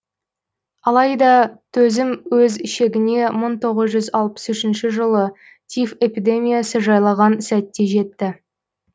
алайда төзім өз шегіне мың тоғыз жүз алпыс үшінші жылы тиф эпидемиясы жайлаған сәтте жетті